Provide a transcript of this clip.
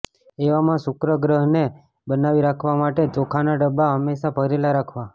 એવા માં શુક્ર ગ્રહને બનાવી રાખવા માટે ચોખા ના ડબ્બા હંમેશા ભરેલા રાખવા